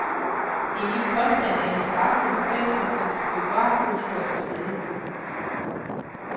Det er min påstand, at interessen i lokalsamfundet for biografkultur er til stede.